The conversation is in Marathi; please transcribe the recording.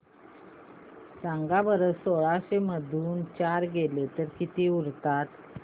सांगा बरं सोळाशे मधून चार गेले तर किती उरतात